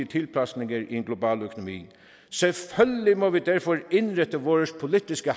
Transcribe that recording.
tilpasninger i en global økonomi selvfølgelig må vi derfor indrette vores politiske